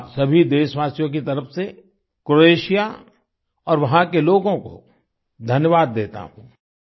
मैं आप सभी देशवासियों की तरफ से क्रोएशिया और वहाँ के लोगों को धन्यवाद देता हूँ